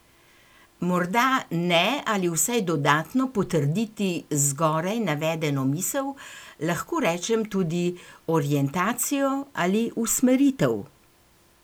Morda ne ali vsaj dodatno potrditi zgoraj navedeno misel, lahko rečem tudi orientacijo ali usmeritev?